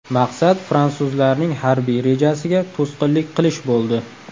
Maqsad fransuzlarning harbiy rejasiga to‘sqinlik qilish bo‘ldi.